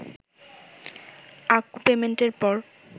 আকু পেমেন্টের পর